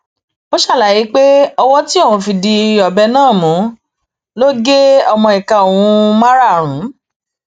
ó ṣàlàyé pé owó tí òun fi di ọbẹ náà mú ló gé ọmọ ìka òun márààrún